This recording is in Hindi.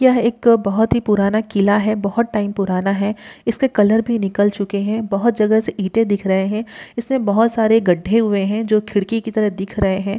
यह एक अ बहुत ही पुराना किला है बहुत टाइम पुराना है| इसके कलर भी निकल चुके हैं| बहुत जगह से ईंटें दिख रहे हैं| इसमें बहुत सारे गढ्ढे हुए हैं जो खिड़की की तरह दिख रहे हैं।